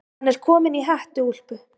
Hann er kominn í hettuúlpu.